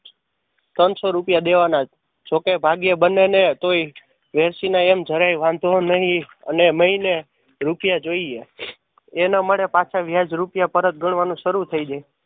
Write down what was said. ત્રણ સો રૂપિયા દેવાના જો કે ભાગ્યે બને ને તોય વેરશી ને એમ જરાય વાંધો નહી અમે મહિને રૂપિયા જોઈએ એના માટે પાછા વ્યાજ રૂપિયા પરત ગણવાનું સારું થઈ જાય